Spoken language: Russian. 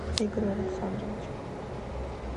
игорю александровичу